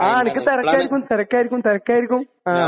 ആ. നിനക്ക് തിരക്കായിരിക്കും. തിരക്കായിരിക്കും. തിരക്കായിരിക്കും. ആഹ്.